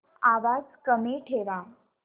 आवाज कमी ठेवा